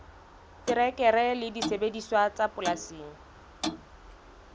terekere le disebediswa tsa polasing